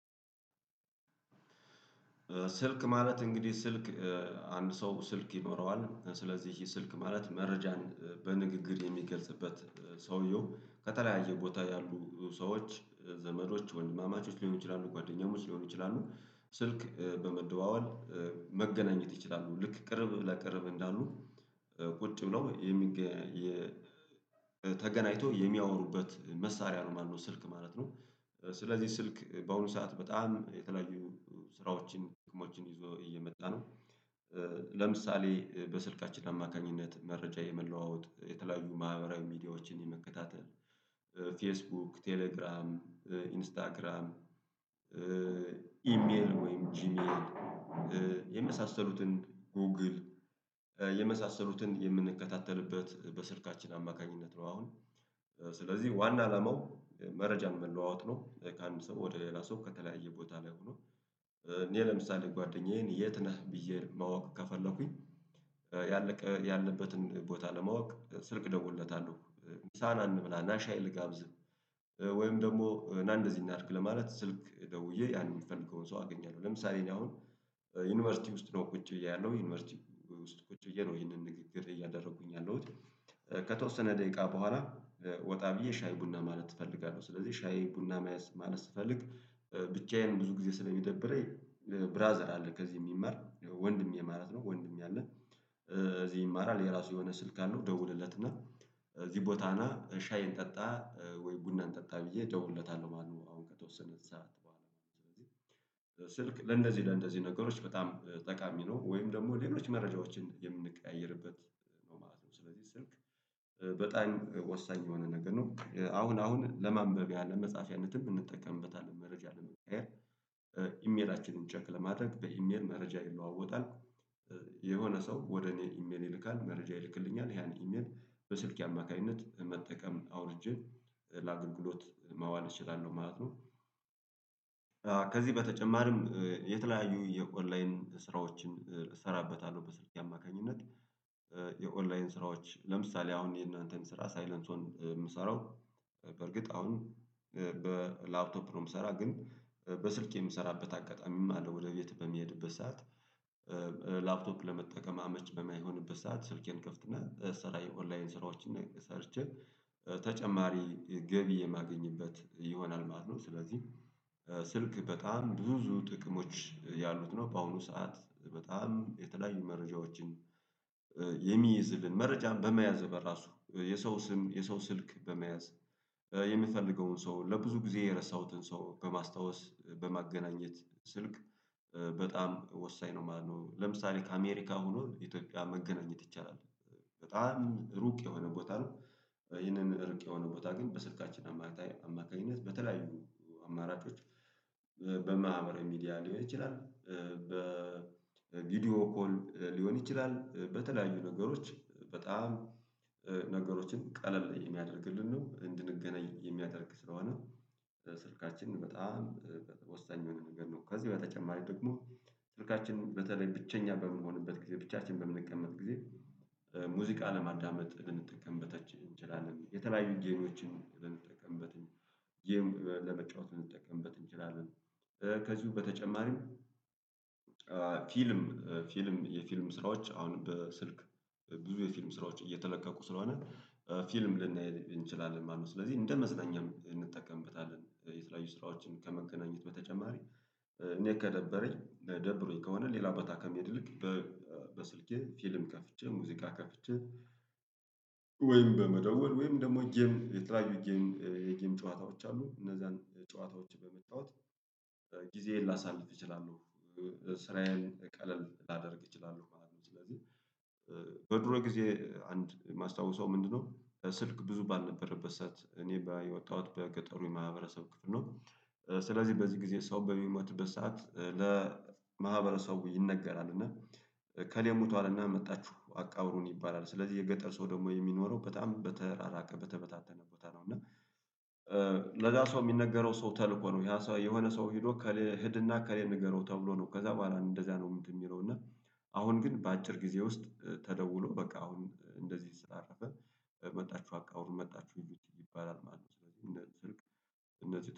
ስልክ ማለት እንግዲህ ስልክ አንድ ሰው ስልክ ይኖረዋል። ስለዚህ ስልክ ማለት መረጃን በንግግር የሚገልጽበት ሰውየው ከተለያየ ቦታ ያሉ ሰዎች ዘመዶች ወንድማማቾች ሊሆኑ ይችላሉ ጓደኛሞች ሊሆኑ ይችላሉ። ስልክ በመደዋወል መገናኘት ይችላሉ። ልክ ቅርብ ለቅርብ እንዳሉ ቁጭ ብለው የሚገ ተገናኝተው የሚያወሩበት መሳሪያ ነው ማለት ነው። ስልክ ማለት ነው። ስለዚህ ስልክ በአሁኑ ሰዓት በጣም የተለያዩ ስራዎችን ጥቅሞችን ይዞ እየመጣ ነው። ለምሳሌ በስልካችን አማካኝነት መረጃ የመለዋወጥ የተለያዩ ማህበራዊ ሚዲያዎችን የመከታተል ፌስቡክ ቴሌግራም ኢንስታግራም ኢሜል ወይም ጂሜል የመሳሰሉትን ጎግል የመሳሰሉትን የምንከታተልበት በስልካችን አማካኝነት ነው። አሁን ስለዚህ ዋና አላማው መረጃን መለዋወጥ ነው። ከአንድ ሰው ወደ ሌላ ሰው ከተለያየ ቦታ ላይ ሆኖ። እኔ ለምሳሌ ጓደኛዬን የት ነህ ብዬ ማወቅ ከፈለኩኝ ያለቀ ያለበትን ቦታ ለማወቅ ስልክ ደጎለታለሁ። ምሳ ና እንብላ ናሻይ ልጋብዝህ ወይም ደግሞ ናእንደዚህ እናድርግ ለማለት ስልክ ደውዬ ያን የሚፈልገውን ሰው አገኛለሁ። ለምሳሌ እኔ አሁን ዩኒቨርሲቲ ውስጥ ነው ቁጭ ብዬ ያለው ዩኒቨርሲቲ ውስጥ ቁጭ ብዬ ነው ይሄንን ንግግር እያደረኩኝ ያለሁት። ከተወሰነ ደቂቃ በኋላ ወጣ ብዬ ሻይ ቡና ማለት እፈልጋለሁ። ስለዚህ ሻይ ቡና ማለት ስፈልግ ብቻዬን ብዙ ጊዜ ስለሚደብረኝ። ብራዘር አለ ከዚህ የሚማር ወንድም ማለት ነው ወንድሜ አለ። እዚህ ይማራል የራሱ የሆነ ስልክ አለው እደውልለት እና እዚህ ቦታ ና ሻይ እንጠጣ ወይ ቡናን እንጠጣ ብዬ እደውለታለሁ ማለት ነው። አሁን ከተወሰነች ሰዓት በኋላ ማለት ነው። ስለዚህ ስልክ ለእንደዚህ ለእንደዚህ ነገሮች በጣም ጠቃሚ ወይም ደግሞ ሌሎች መረጃዎችን የምንቀያየርበት ነው ማለት ነው። ስለዚህ ስልክ በጣኝ ወሳኝ የሆነ ነገር ነው። አሁን አሁን ለማንበቢያ ለመጽፍያነትም እንጠቀምበታለን መረጃ ለመቀያየር ኢሜላችንን ቸክ ለማድረግ በኢሜል መረጃ ይለዋወጣል። የሆነ ሰው ወደ እኔ ኢሜል ይልካል መረጃ ይልክልኛል ያን ኢሜል በስልኪ አማካኝነት መጠቀም አውርጄ ለአገልግሎት ማዋል እችላለሁ ማለት ነው። ከዚህ በተጨማሪም የተለያዩ የኦንላይን ስራዎችን እሰራበታለሁ በስልኬ አማካኝነት። የኦንላይን ስራዎች ለምሳሌ አሁን የእናንተን ስራ ሳይለንስዬን የምሰራው በእርግጥ አሁን በላፕቶፕ ነው የምሰራ ግን በስልክ የምሰራበት አጋጣሚም አለ። ወደ ቤት በሚሄድበት ሰዓት። ላፕቶፕ ለመጠቀም አመች በማይሆንበት ሰዓት ስልኬን እከፍትና ስራ የኦንላይን ስራዎችን ሰርቼ ተጨማሪ ገቢ የማገኝበት ይሆናል ማለት ነው። ስለዚህ ስልክ በጣም ብዙ ጥቅሞች ያሉት ነው። በአሁኑ ሰዓት በጣም የተለያዩ መረጃዎችን የሚይዝልን መረጃን በመያዝ በራሱ የሰው ስም የሰው ስልክ በመያዝ የምፈልገውን ሰው ለብዙ ጊዜ የረሳሁትን ሰው በማስታወስ በማገናኘት ስልክ በጣም ወሳኝ ነው ማለት ነው። ለምሳሌ ከአሜሪካ ሆኖ ኢትዮጵያ መገናኘት ይቻላል። በጣም ሩቅ የሆነ ቦታ ነው። ይህንን ሩቅ የሆነ ቦታ ግን በስልካችን አማካኝነት በተለያዩ አማራጮች በማህበረ ሚዲያ ሊሆን ይችላል። በቪዲዮ ኮል ሊሆን ይችላል በተለያዩ ነገሮች በጣም ነገሮችን ቀለል የሚያደርግልን ነው እንድንገናኝ የሚያደርግ ስለሆነ። ስልካችንን በጣም ወሳኝ የሆነ ነገር ነው። ከዚህ በተጨማሪ ደግሞ ስልካችን በተለይ ብቸኛ በምንሆንበት ጊዜ ብቻችንን በምንቀመጥ ጊዜ ሙዚቃ ለማዳመጥ ልንጠቀምበት እንችላለን። የተለያዩን ጌሞችን ልንጠቀምበት ጌም ለመጫወት ልንጠቀምበት እንችላለን። ከዚሁ በተጨማሪም ፊልም ፊልም የፊልም ስራዎች አሁን በስልክ ብዙ የፊልም ስራዎች እየተለቀቁ ስለሆነ ፊልም ልናይ እንችላለን ማለት ነው። ስለዚህ እንደመዝናኛም እንጠቀምበታለን የተለያዩ ስራዎችን ከመገናኘት በተጨማሪ። እኔ ከደበረኝ ደብሮኝ ከሆነ ሌላ በታ ከመሄድ ይልቅ። በስልኬ ፊልም ከፍቼ ሙዚቃ ከፍቼ። ወይም በመደወል ወይም ደግሞ ጌም የተለያዩ ጌም የጌም ጨዋታዎች አሉ እነዛን ጨዋታዎች በመጫወት ጊዜዬን ላሳልፍ እችላለሁ። ስራዬን ቀለል ላደርግ ይችላለሁ ማለት ነው። ስለዚህ በድሮ ጊዜ አንድ የማስታውሰው ምንድነው? ስልክ ብዙ ባልነበረበት ሰዓት እኔ የወጣዉት በገጠሩ የማህበረሰብ ክፍል ነው። ስለዚህ በዚህ ጊዜ ሰው በሚሞትበት ሰዓት ለማህበረሰብ ይነገራል እና። እከሌ ሙቶአል እና መጥታችሁ አቃብሩን ይባላል። ስለዚህ የገጠር ሰው ደግሞ የሚኖረው በጣም በተራራቀ በተበታተነ ሀኔታ ነው። እና ለዛ ሰው የሚነገረው ሰው ተልኮ ነው። ይሄ የሆነ ሰው ሄዶ ሄድና እከሌን ንገረው ተብሎ ነው። ከዛ በኋላ እንደዚያ ነው። እንትን እሚለው እና አሁን ግን በአጭር ጊዜ ውስጥ ተደውሎ በቃ አሁን እንደዚህ ስላረፈ። መጣችሁ አቃብሩ መጣችሁ እዩት ይባላል ማለት ነው። ስለዚህ እነ ስልክ እነ